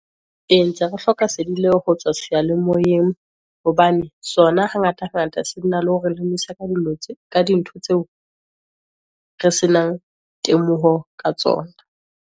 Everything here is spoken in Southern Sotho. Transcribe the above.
E, ntse re hloka sedi leo ho tswa seyalemoyeng, hobane sona ha ngata ngata se na le hore lemosa ka dintho tseo, re se nang temoho ka tsona.